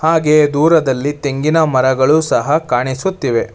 ಹಾಗೆಯೇ ದೂರದಲ್ಲಿ ತೆಂಗಿನ ಮರಗಳು ಸಹ ಕಾಣಿಸುತ್ತಿವೆ.